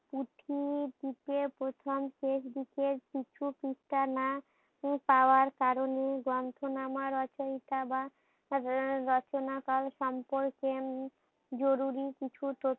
উথির টিকে প্রথম শেষ দিকের কিছু পৃষ্ঠা না পাওয়ার কারণে গ্রন্থনামার্ রচয়িতা বা রচনা টার সম্পর্কে জরুরি কিছু তথ্য